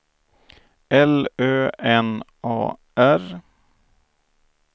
L Ö N A R